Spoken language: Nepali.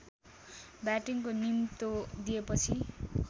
ब्याटिङको निम्तो दिएपछि